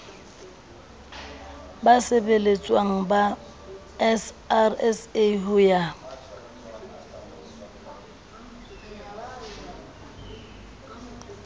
basebeletswa ba srsa ho ya